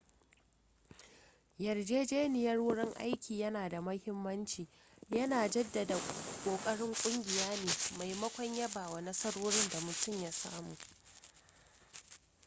yarjejeniyar wurin aiki yana da mahimmanci yana jaddada ƙoƙarin kungiya ne maimakon yaba wa nasarorin da mutum ya samu